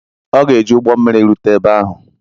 Ọ ga-eji ụgbọ mmiri rute ebe ahụ.